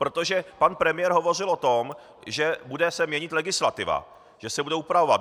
Protože pan premiér hovořil o tom, že se bude měnit legislativa, že se bude upravovat.